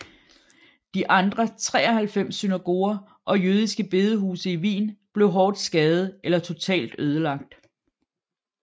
De andre 93 synagoger og jødiske bedehuse i Wien blev hårdt skadede eller totalt ødelagt